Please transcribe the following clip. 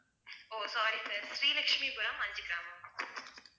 O sorry sir Shri Lakshmipuram Anjugramam